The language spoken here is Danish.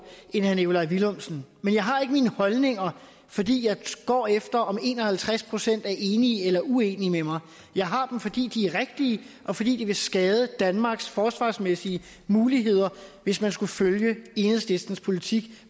end herre nikolaj villumsen men jeg har ikke mine holdninger fordi jeg går efter om en og halvtreds procent er enige eller uenige med mig jeg har dem fordi de er rigtige og fordi det vil skade danmarks forsvarsmæssige muligheder hvis man skulle følge enhedslistens politik